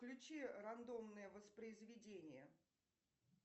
включи рандомное воспроизведение